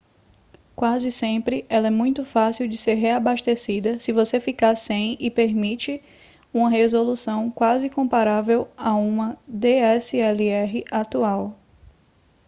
quase sempre ela é muito fácil de ser reabastecida se você ficar sem e permite uma resolução quase comparável a uma dslr atual